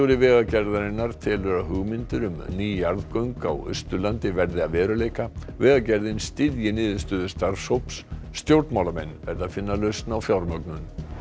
Vegagerðarinnar telur að hugmyndir um ný jarðgöng á Austurlandi verði að veruleika vegagerðin styðji niðurstöðu starfshóps stjórnmálamenn verði að finna lausn á fjármögnun